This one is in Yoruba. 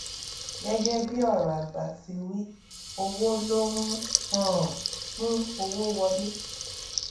gẹgẹ bí ọrọ àgbà ti wí owó ló ń um mú owó wọlé